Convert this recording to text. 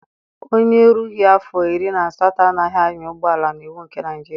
Onye erughị afọ iri na asatọ anaghị anya ụgbọala n'iwu nke Naịjiria.